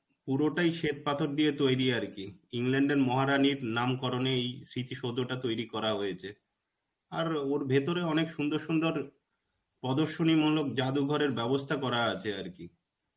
পুরোটাই শ্বেতপাথর দিয়ে তৈরী আর কি. England এর মহারানীর নাম করনে এই স্মৃতি সৌধটা তৈরী করা হয়েছে. আর ওর ভিতরে অনেক সুন্দর সুন্দর প্রদর্শনী মূলক জাদুঘরের বাব্যস্থা করা আছে আর কি.